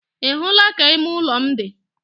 Ị hụla ka ime ụlọ m dị?